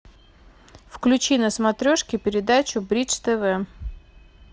включи на смотрешке передачу бридж тв